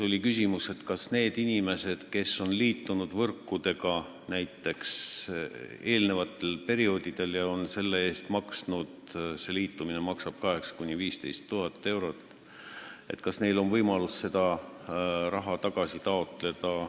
Oli ka küsimus, kas nendel inimestel, kes on näiteks eelmistel perioodidel võrkudega liitunud ja selle eest maksnud – selline liitumine maksab 8000 – 15 000 eurot –, on võimalik seda raha tagasi taotleda.